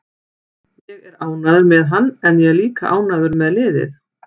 Ég er ánægður með hann en ég er líka ánægður með liðið.